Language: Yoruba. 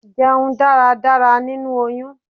Jẹun dáradára nínú oyún!